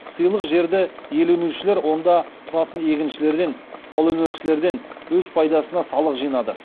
сыйлық жерді иеленушілер онда тұратын егіншілерден қолөнершілерден өз пайдасына салық жинады